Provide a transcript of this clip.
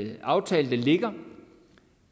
den aftale der ligger